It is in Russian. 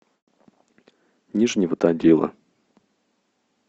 нижнего тагила